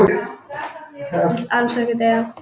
Vill alls ekki deyja.